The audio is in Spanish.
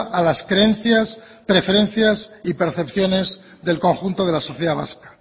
a las creencias preferencias y percepciones del conjunto de la sociedad vasca